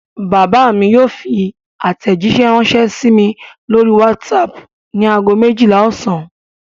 Bàbá mi yóò fi àtẹ̀jíṣẹ́ ránṣẹ́ sí mi lórí WhatsApp ní ago méjìlá ọ̀sán.